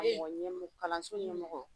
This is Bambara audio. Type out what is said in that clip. Mɔgɔ ɲɛ kalanso ɲɛmɔgɔ